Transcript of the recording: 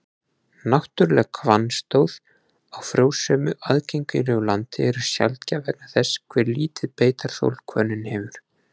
Náttúruleg hvannstóð á frjósömu, aðgengilegu landi eru sjaldgæf vegna þess hve lítið beitarþol hvönnin hefur.